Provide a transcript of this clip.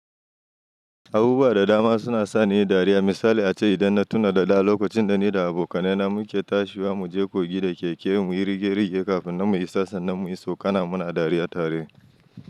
Abubuwa da dama suna sa ni dariya. Misali ace idan na tuna da da lokacin da ni da abokanai na muke tashiwa, mu je kogi da keke mu yi rige-rige kafin mu isa san nan mu yi tsokana muna dariya tare.